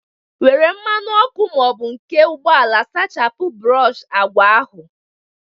Nwere mmanụ ọkụ ma ọ bụ nke ụgbọala sachapụ brọshị agwa ahụ!